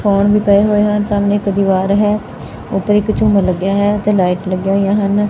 Phone ਵੀ ਪਏ ਹੋਏ ਹਨ ਸਾਹਮਣੇ ਇਕ ਦੀਵਾਰ ਹੈ ਉਪਰ ਇਕ ਝੁੰਮਰ ਲੱਗਿਆ ਹੈ ਤੇ ਨਾਈਟਸ ਲੱਗਿਆ ਹੋਈਆ ਹਨ।